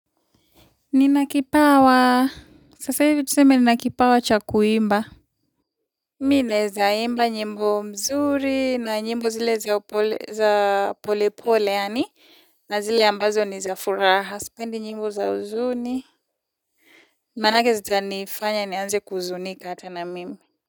Nina kipawa sasa hivi tuseme nina kipawa cha kuimba mimi naezaimba nyimbo mzuri na nyimbo zile za pole pole yaani na zile ambazo ni za furaha sipendi nyimbo za huzuni manake zitanifanya nianze kuzunika hata na mimi.